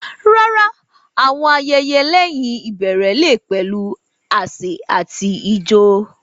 Rárá, àwọn ayẹyẹ lẹ́yìn ìbẹ̀rẹ̀ lè pẹ̀lú àsè àti ijó.